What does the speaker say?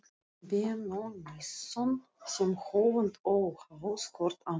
Benónýsson sem höfund óháð hvor annarri.